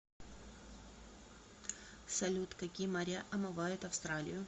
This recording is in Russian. салют какие моря омывают австралию